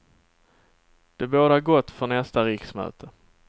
Det bådar gott för nästa riksmöte.